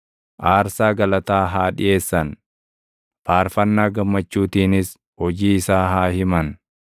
Aarsaa galataa haa dhiʼeessan; faarfannaa gammachuutiinis hojii isaa haa himan.